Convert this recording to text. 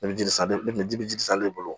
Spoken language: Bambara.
Ne bɛ ji sa de ne bɛ ji salen bolo